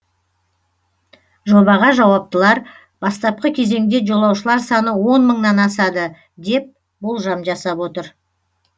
жобаға жауаптылар бастапқы кезеңде жолаушылар саны он мыңнан асады деп болжам жасап отыр